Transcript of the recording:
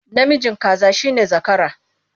Namijin kaza shi ne zakara.